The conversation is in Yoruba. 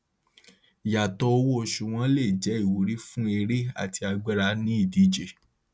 ìyàtọ owó oṣù wọn lè jẹ ìwúrí fún eré àti agbára ní ìdíje